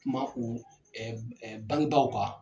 Kuma u bangebaaw ka.